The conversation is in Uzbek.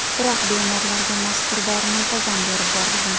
Biroq bemorlarga mazkur dori muntazam berib borilgan.